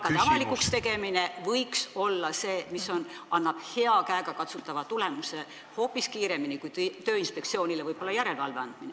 ... palkade avalikuks tegemine võiks olla see, mis annab hea, käegakatsutava tulemuse hoopis kiiremini kui võib-olla Tööinspektsioonile järelevalveõiguse andmine.